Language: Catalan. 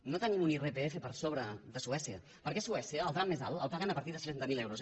no tenim un irpf per sobre de suècia perquè a suècia el tram més alt el paguen a partir de seixanta mil euros